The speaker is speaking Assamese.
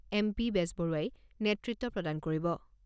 এম.পি বেজবৰুৱাই নেতৃত্ব প্ৰদান কৰিব।